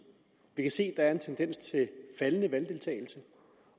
vi kan se at der er en tendens til faldende valgdeltagelse